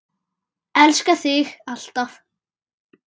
Elska þig alltaf.